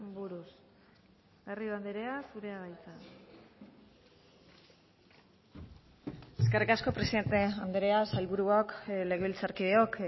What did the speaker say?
buruz garrido andrea zurea da hitza eskerrik asko presidente andrea sailburuok legebiltzarkideok